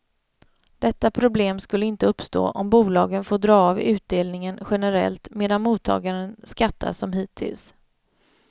Detta problem skulle inte uppstå om bolagen får dra av utdelningen generellt, medan mottagaren skattar som hittills.